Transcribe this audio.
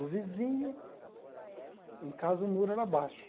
O vizinho, em casa o muro era baixo.